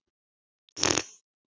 Yrði alltaf svona.